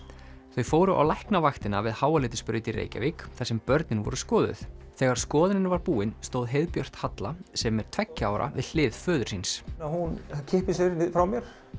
þau fóru á Læknavaktina við Háaleitisbraut í Reykjavík þar sem börnin voru skoðuð þegar skoðunin var búin stóð heiðbjört Halla sem er tveggja ára við hlið föður síns hún kippir sér frá mér